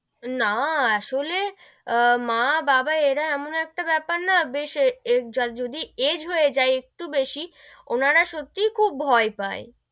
না আসলো আহ মা-বাবা এরা এমন একটা বেপার না বেশ যদি age হয়ে যাই একটু বেশি, ওনারা সত্যি খুব ভয় পাই,